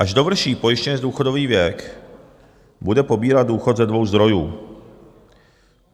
Až dovrší pojištěnec důchodový věk, bude pobírat důchod ze dvou zdrojů.